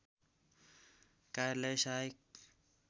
कार्यालय सहायक